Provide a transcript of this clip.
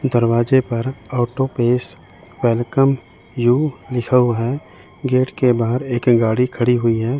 दरवाजे पर out to auto pace welcome you लिखा हुआ है गेट के बाहर एक गाड़ी खड़ी हुई है।